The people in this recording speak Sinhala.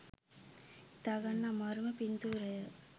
හිතාගන්න අමාරුම පින්තුරය